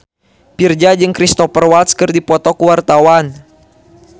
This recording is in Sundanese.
Virzha jeung Cristhoper Waltz keur dipoto ku wartawan